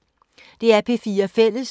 DR P4 Fælles